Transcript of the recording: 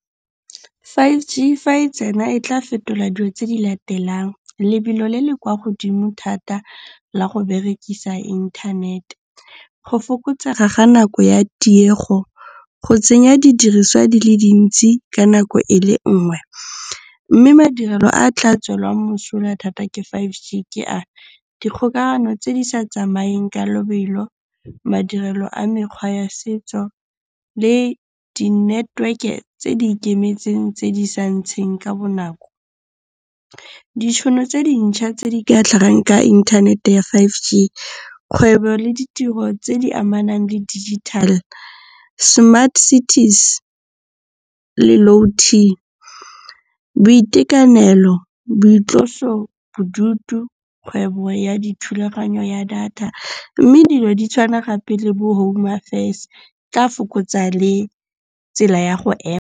Five G fa e tsena e tla fetola dio tse di latelang, lebelo le le kwa godimo thata la go berekisa inthanete. Go fokotsega ga nako ya tiego. Go tsenya didiriswa di le dintsi ka nako e le nngwe. Mme madirelo a tla tswelwang mosola thata ke Five G ke a, dikgokagano tse di sa tsamayeng ka lobelo, madirelo a mekgwa ya setso le di-network-e tse di ikemetseng tse di sa ntsheng ka bonako. Ditšhono tse dintšha tse di ka tlhagang ka inthanete ya Five G, kgwebo le ditiro tse di amanang le Digital Smart Cities Low-T, boitekanelo, boitlosobodutu, kgwebo ya dithulaganyo ya data. Mme dilo di tshwana gape le bo home affairs, di tla fokotsa le tsela ya go ema.